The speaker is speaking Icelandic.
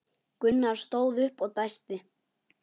Gunnar stóð upp og dæsti.